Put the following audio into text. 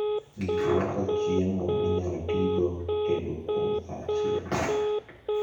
gik loso chiemo minyalotigo tedo kuom saa achiel